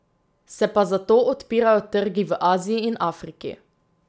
Se pa zato odpirajo trgi v Aziji in Afriki.